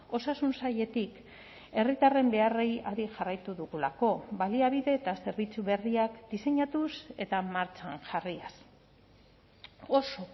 osasun sailetik herritarren beharrei adi jarraitu dugulako baliabide eta zerbitzu berriak diseinatuz eta martxan jarriaz oso